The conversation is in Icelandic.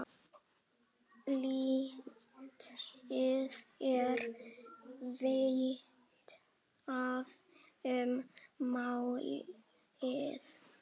Lítið er vitað um málið.